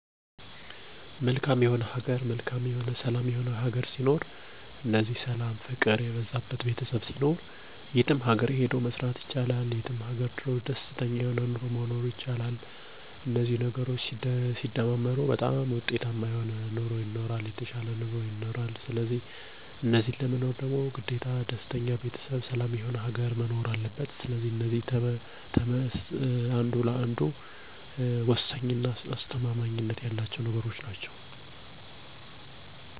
ስኬታማ እና ደስተኛ ቤተሰብ ፍቅር እና ሰላም የበዛለት መዋደድ መከባበር ያለዉ በፈለገዉ ሰአት ወጥቶ በፈለገዉ ሀገር ሄዶ መስራት የሚችል ማህበረሰብ ማየት ነዉ ፍላጎቴ።